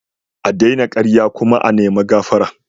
A daina karya kuma a nima gafara.